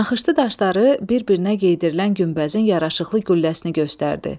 Naxışlı daşları bir-birinə geydirilən günbəzin yaraşıqlı gülləsini göstərdi.